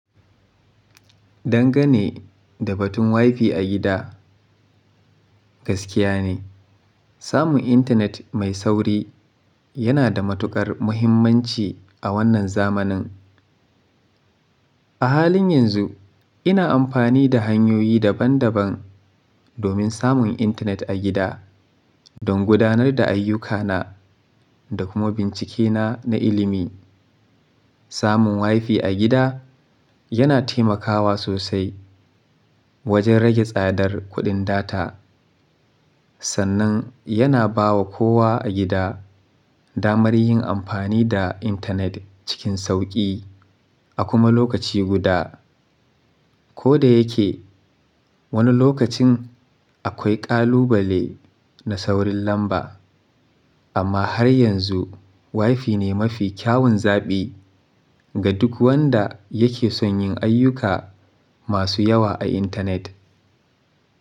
Dangane da batun Wi-Fi a gida, gaskiya ne, samun intanet mai sauri yana da matuƙar mahimmanci a wannan zamanin. A halin yanzu ina amfani da hanyoyi daban-daban domin samun intanet a gida don gudanar da ayyukana da kuma bincikena na ilimi. Samun Wi-Fi a gida yana taimakawa sosai wajen rage tsadar kuɗin data. Sannan yana ba wa kowa a gida damar yin amfani da intanet cikin sauƙi a kuma lokaci guda. Ko da yake wani lokacin akwai ƙalubale na saurin lamba, amma har yanzu Wi-Fi ne mafi kyawun zaɓi ga duk wanda yake son yin ayyuka masu yawa a intanet.